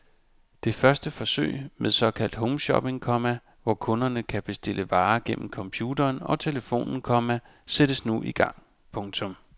Det første forsøg med såkaldt homeshopping, komma hvor kunderne kan bestille varer gennem computeren og telefonen, komma sættes nu i gang. punktum